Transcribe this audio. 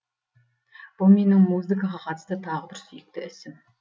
бұл менің музыкаға қатысты тағы бір сүйікті ісім